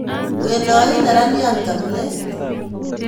Wedoin neraniat kabilet